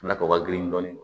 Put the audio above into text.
A nafa ka girin dɔɔnin